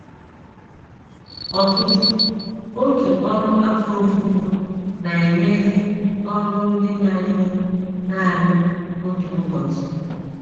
Ọtụtụ òtù ọrụ afọ ofufo na - enyezi ọrụ ndị na - ewe nanị otu ụbọchị.